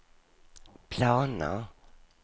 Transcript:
planer